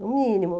No mínimo.